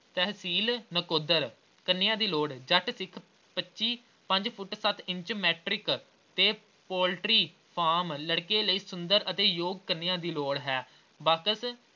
ਤਹਿਸੀਲ ਨਕੋਦਰ ਕੰਨਿਆ ਦੀ ਲੋੜ ਹੈ ਜੱਟ ਸਿੱਖ ਪੱਚੀ ਪੰਜ ਫੁੱਟ ਕੱਦ ਇੰਚ matric ਤੇ poultry farm ਲੜਕੇ ਲਈ ਸੁੰਦਰ ਅਤੇ ਯੋਗ ਲੜਕੀ ਦੀ ਲੋੜ ਹੈ। ਬਾਕਸ